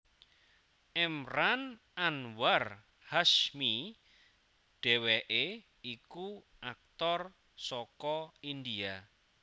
Emraan Anwar Hashmi dhèwèké iku aktor saka India